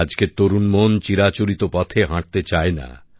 আজকের তরুণ মন চিরাচরিত পথে হাটতে চায় না